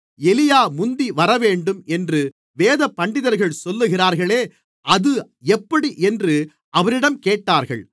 எலியா முந்தி வரவேண்டும் என்று வேதபண்டிதர்கள் சொல்லுகிறார்களே அது எப்படி என்று அவரிடம் கேட்டார்கள்